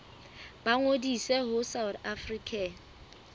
ba ngodise ho south african